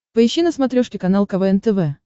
поищи на смотрешке канал квн тв